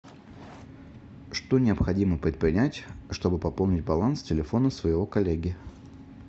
что необходимо предпринять чтобы пополнить баланс телефона своего коллеги